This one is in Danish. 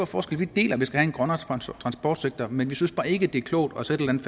forskel vi deler at vi skal have en grønnere transportsektor men vi synes bare ikke det er klogt at sætte en